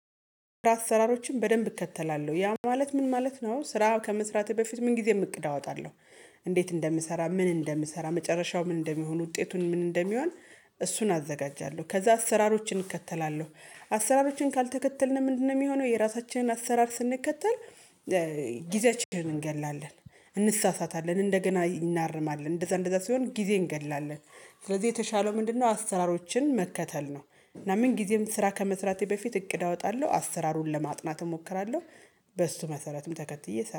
አሰራሮችን በደንብ እከተላለሁ ያ ማለት ምን ማለት ነው ስራ ከመስራቴ በፊት ምን ጊዜም እቅድ አወጣለሁ። እንዴት እንደምሰራ ምን እንደምሰራ መጨረሻው ምን እንደሚሆን ውጤቱን ምን እንደሚሆን። እሱን አዘጋጃለሁ ከዛ አሰራሮችን እከተላለሁ። አሰራሮችን ካልተከተልንም ምንድነው የሚሆነው የራሳችንን አሰራር ስንከተል? ጊዜያችንን እንገድላለን እንሳሳታለን እንደገና እናርማለን እንደዛ እንደዛ ሲሆን ጊዜ እንገድላለን። ስለዚህ የተሻለው ምንድነው አስራሮችን መከተል ነው። ምናምን ጊዜም ስራ ከመስራቴ በፊት እቅድ አወጣለሁ አሰራሩን ለማጥናት እሞክራለሁ። በሱ መሰረትም ተከትዬ